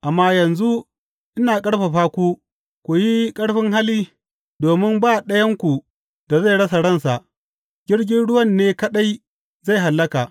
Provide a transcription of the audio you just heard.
Amma yanzu ina ƙarfafa ku ku yi ƙarfin hali, domin ba ɗayanku da zai rasa ransa; jirgin ruwan ne kaɗai zai hallaka.